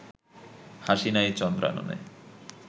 হাসি নাই চন্দ্রাননে